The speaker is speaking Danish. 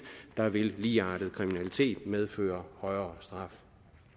der vil ligeartet kriminalitet medføre højere straf